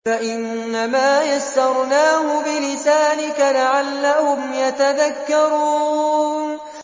فَإِنَّمَا يَسَّرْنَاهُ بِلِسَانِكَ لَعَلَّهُمْ يَتَذَكَّرُونَ